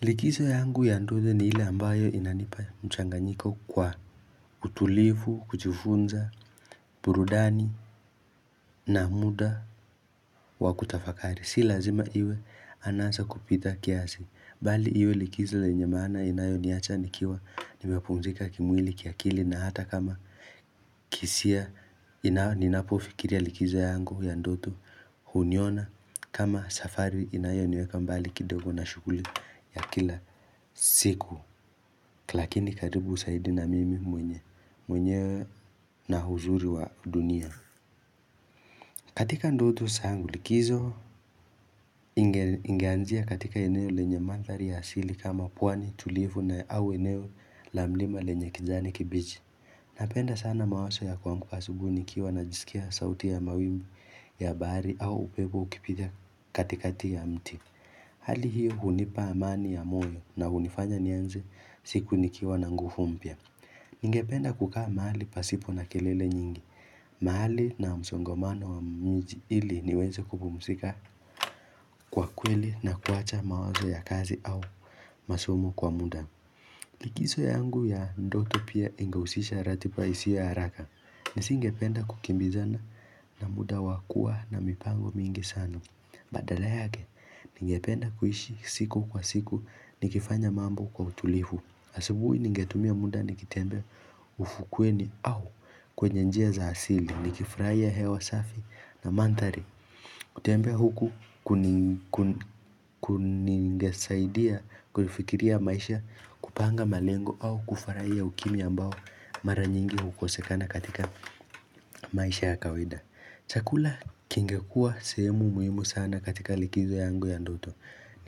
Likizo yangu ya ndoze ni ile ambayo inanipa mchanganyiko wa utulifu, kujifunza, burudani na muda wa kutafakari. Si lazima iwe anasa kupita kiasi. Bali iwe likizo yenye maana inayoniacha nikiwa nimepumzika kimwili, kiakili na hata kama kihisia Ninapofikiria likizo yangu ya ndoto huniona kama safari inayo niweka mbali kidogo na shughuli ya kila siku Lakini karibu zaidi na mimi mwenyewe na uzuri wa dunia. Katika ndoto zangu likizo ingeanzia katika eneo lenye mandhari ya asili kama pwani tulivu na au eneo la mlima lenye kijani kibichi. Napenda sana mawazo ya kuamka asubuhi nikiwa najisikia sauti ya mawimbi ya bahari au upepo ukipiga katikati ya mti. Hali hiyo hunipa amani ya moyo na hunifanya nianze siku nikiwa na nguvu mpya. Ningependa kukaa mahali pasipo na kelele nyingi mahali na msongamano wa miji ili niweze kupumzika kwa kweli na kuacha mawazo ya kazi au masomo kwa muda Likizo yangu ya ndoto pia ingehusisha ratiba isiyo ya haraka nisingependa kukimbizana na muda wakuwa na mipango mingi sana Badala yake, ningependa kuishi siku kwa siku nikifanya mambo kwa utulivu. Asubuhi ningetumia muda nikitembea ufukweni au kwenye njia za asili nikifurahia hewa safi na mandhari kutembea huku kungenisaidia kufikiria maisha, kupanga malengo au kufurahia ukimya ambao mara nyingi hukosekana katika maisha ya kawaida chakula kingekuwa sehemu muhimu sana katika likizo yangu ya ndoto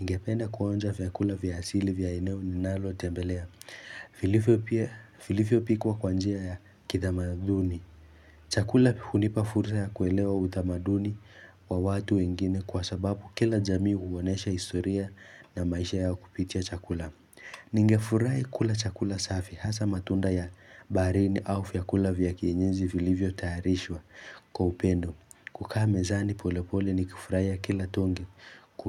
Ningependa kuonja vyakula vya asili vya eneo ninalo tembelea vilivyo pia vilivyo pikwa kwa njia ya kitamaduni chakula hunipa fursa ya kuelewa utamaduni wa watu wengine kwa sababu kila jamii huonesha historia na maisha yao kupitia chakula ningefurahi kula chakula safi hasa matunda ya baharini au vyakula vya kienyeji vilivyo tayarishwa kwa upendo kukaa mezani polepole nikifurahia kila tonge ku.